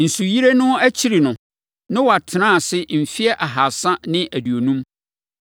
Nsuyire no akyiri no, Noa tenaa ase mfeɛ ahasa ne aduonum.